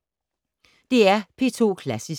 DR P2 Klassisk